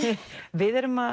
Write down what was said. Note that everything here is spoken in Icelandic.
við erum að